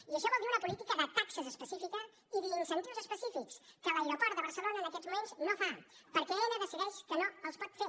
i això vol dir una política de taxes específica i d’incentius específics que l’aeroport de barcelona en aquests moments no fa perquè aena decideix que no els pot fer